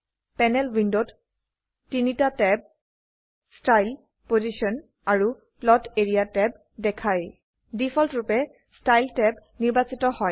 panel উইন্ডোত তিনিটা tab style position আৰু প্লট এৰিয়া ট্যাব দেখায় ডিফল্টৰুপে ষ্টাইল ট্যাব নিৰ্বাচিত হয়